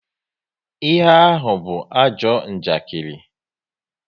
Ihe ahụ be ajọ njakiri